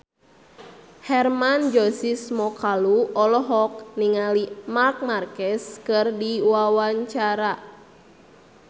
Hermann Josis Mokalu olohok ningali Marc Marquez keur diwawancara